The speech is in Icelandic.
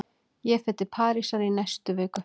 Ég fer til Parísar í næstu viku.